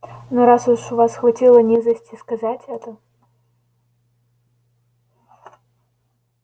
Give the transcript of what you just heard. но раз уж у вас хватило низости сказать это